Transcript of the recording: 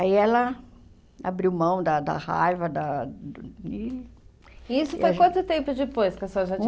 Aí ela abriu mão da da raiva, da... E isso foi quanto tempo depois que a senhora já tinha